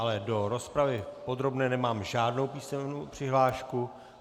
Ale do rozpravy podrobné nemám žádnou písemnou přihlášku.